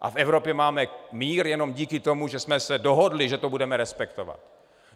A v Evropě máme mír jenom díky tomu, že jsme se dohodli, že to budeme respektovat.